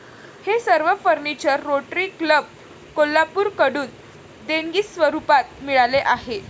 हे सर्व furniture Rotary Club, कोल्हापूरकडून देणगीस्वरुपात मिळाले आहे.